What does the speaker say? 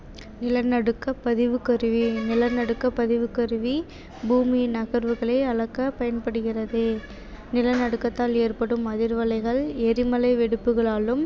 நிலநடுக்கப் பதிவுக்கருவி நிலநடுக்கப் பதிவுக்கருவி பூமியின் நகர்வுகளை அளக்க பயன்படுகிறது நிலநடுக்கத்தால் ஏற்படும் அதிர்வலைகள், எரிமலை வெடிப்புகளாலும்